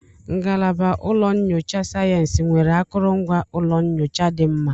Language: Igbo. Ngalaba ụlọ nyocha sayensị nwere akụrụngwa ụlọ nyocha dị mma?